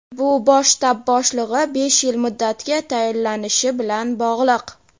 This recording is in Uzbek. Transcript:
bu Bosh shtab boshlig‘i besh yil muddatga tayinlanishi bilan bog‘liq.